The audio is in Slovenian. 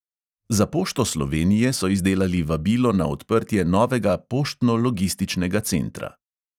Za pošto slovenije so izdelali vabilo na odprtje novega poštno-logističnega centra.